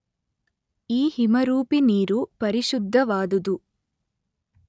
ಈ ಹಿಮರೂಪಿ ನೀರು ಪರಿಶುದ್ಧವಾದುದು.